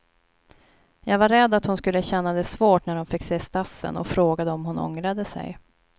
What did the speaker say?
Jag var rädd att hon skulle känna det svårt när hon fick se stassen och frågade om hon ångrade sig.